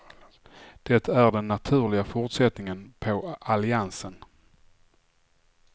Det är den naturliga fortsättningen på alliansen.